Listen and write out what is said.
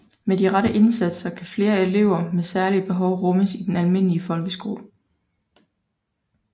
Med de rette indsatser kan flere elever med særlige behov rummes i den almindelige folkeskole